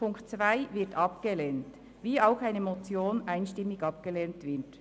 Die Ziffer 2 wird abgelehnt, wie auch eine Motion einstimmig abgelehnt wird.